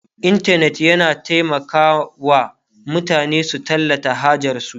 intanet yana taimaka wa mutane su tallata hajarsu